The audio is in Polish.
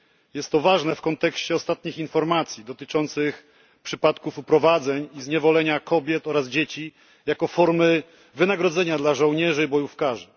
Jest to ważne w kontekście ostatnich informacji dotyczących przypadków uprowadzeń i zniewolenia kobiet oraz dzieci jako formy wynagrodzenia dla żołnierzy bojówkarzy.